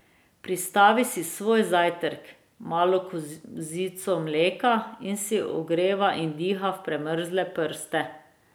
Pristavi si svoj zajtrk, malo kozico mleka, in si ogreva in diha v premrle prste.